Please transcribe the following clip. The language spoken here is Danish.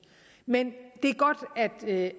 men det